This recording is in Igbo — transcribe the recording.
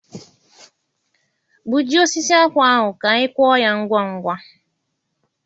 Gbujie osisi akpụ ahụ ka anyị kụọ ya ngwa ngwa.